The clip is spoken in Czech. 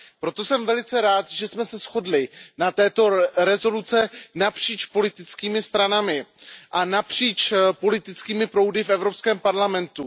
Proto jsem velice rád, že jsme se shodli na této rezoluci napříč politickými stranami a napříč politickými proudy v Evropském parlamentu.